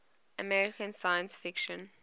american science fiction